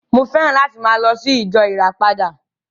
Mo féràn láti máa lọ sí ìjọ ìràpadà